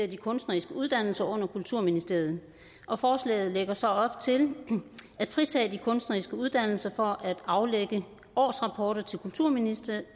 de kunstneriske uddannelser under kulturministeriet og forslaget lægger så op til at fritage de kunstneriske uddannelser for at aflægge årsrapporter til kulturministeriet